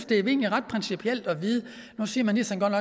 det egentlig er principielt at vide det nu siger ministeren godt